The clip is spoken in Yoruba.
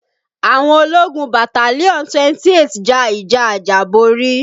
Àwọn ológun battalion 28 ja ìjà àjàborí